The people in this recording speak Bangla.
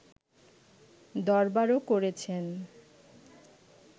দরবারও করেছেন